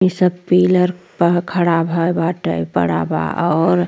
ई सब पिलर पर खड़ा भए बाटे। बड़ा बा और --